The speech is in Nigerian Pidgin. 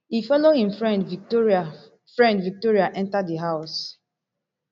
e follow im friend victoria friend victoria enta di house